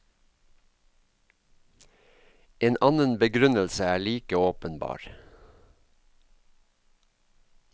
En annen begrunnelse er like åpenbar.